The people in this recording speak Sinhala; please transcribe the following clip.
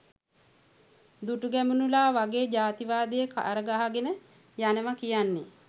දුටුගැමුණුලා වගේ ජාතිවාදය කර ගහගෙන යනවා කියන්නෙ